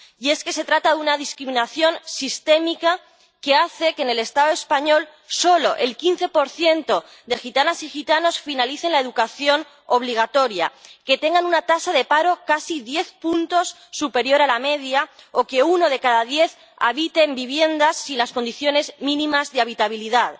Y es que se trata de una discriminación sistémica que hace que, en el Estado español, solo el 15 de gitanas y gitanos finalicen la educación obligatoria, que tengan una tasa de paro casi diez puntos superior a la media, o que uno de cada diez habite en viviendas sin las condiciones mínimas de habitabilidad.